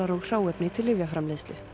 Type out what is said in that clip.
og hráefni til lyfjaframleiðslu